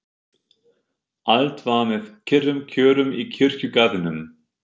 Allt var með kyrrum kjörum í kirkjugarðinum.